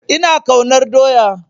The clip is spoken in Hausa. Ina ƙaunar doya